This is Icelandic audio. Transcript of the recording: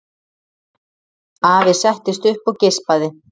Afi settist upp og geispaði.